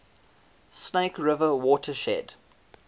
snake river watershed